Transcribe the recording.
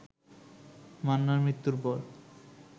মান্নার মৃত্যুর পর